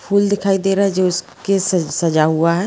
फूल दिखाई दे रहा है जो उसके स-सजा हुआ है।